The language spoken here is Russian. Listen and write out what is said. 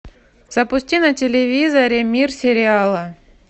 запусти на телевизоре мир сериала